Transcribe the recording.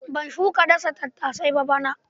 Ban shuka dasa tattasai ba bana.